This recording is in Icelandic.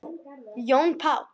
Jón Páll.